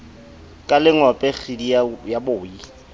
ka lengope kgidi ya boi